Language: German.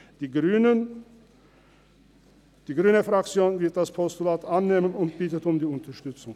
Die grüne Fraktion wird das Postulat annehmen und bittet um die Unterstützung.